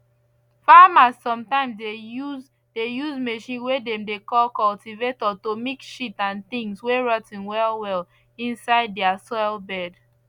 farmers sometimes dey use dey use machine way dem dey call cultivator to mix shit and things way rot ten well well inside their soil bed